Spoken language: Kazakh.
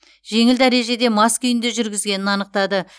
жеңіл дәрежеде мас күйінде жүргізгенін анықтады